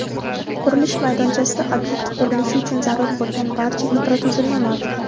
qurilish maydonchasida ob’ekt qurilishi uchun zarur bo‘lgan barcha infratuzilma mavjud.